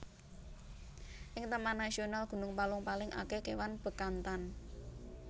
Ing Taman Nasional Gunung Palung paling akeh kewan Bekantan